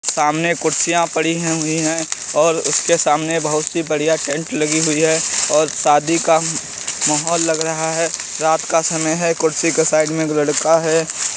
सामने कुर्सियां पड़ी हैं हुई हैं और उसके सामने बहुत सी बढ़िया टेंट लगी हुई है और शादी का माहौल लग रहा है। रात का समय है। कुर्सी के साइड में एक लड़का है।